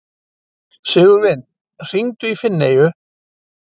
Sigurvin, hringdu í Finneyju.